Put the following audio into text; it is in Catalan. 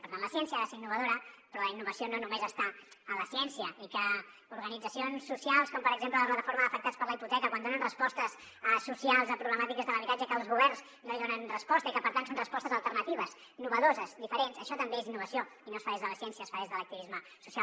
per tant la ciència ha de ser innovadora però la innovació no només està en la ciència i que organitzacions socials com per exemple la plataforma d’afectats per la hipoteca quan donen respostes socials a problemàtiques de l’habitatge que els governs no hi donen resposta i que per tant són respostes alternatives innovadores diferents això també és innovació i no es fa des de la ciència es fa des de l’activisme social